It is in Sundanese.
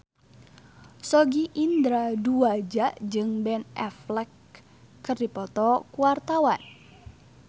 Sogi Indra Duaja jeung Ben Affleck keur dipoto ku wartawan